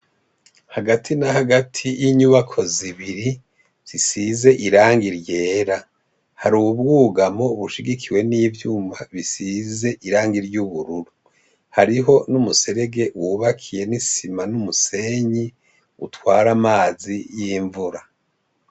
Hagati na hagati y'inyubako zibiri zisize iranga iryera hari ubwugamo bushigikiwe n'ivyuma bisize iranga iryo ubururu hariho n'umuserege wubakiye n'isima n'umusenyi utware amazi y'imvura.